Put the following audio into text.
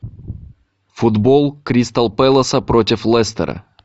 футбол кристал пэласа против лестера